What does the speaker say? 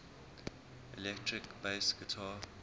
electric bass guitar